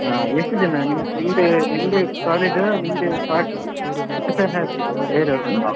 ಹಾ ಎಷ್ಟು ಜನ ನಿಮ್ದೇ ನಿಮ್ದೇ college ಆ ನಿಮ್ದೇ party ಅವ್ರದ್ದ್ ಹಾಗೆ ಬೇರೆ ಅವ್ರದ್ದ್?